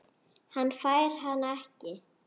Hann fær hana ekki.